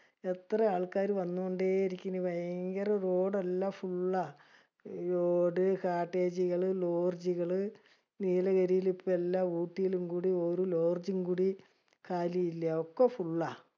എത്ര ആൾക്കാര് വന്നൊണ്ടെ ഇരിക്കണ്. ഭയങ്കര road എല്ലാ full ള്ള. Roadcottage ജുകള് lodge ജുകള്. നീലഗിരിയില് ഇപ്പൊ എല്ലാ ഊട്ടീലും കൂടി ഒരു lodge ജ്ജും കൂടി കാലി ഇല്യ. ഒക്കെ full ള്ള.